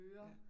Ja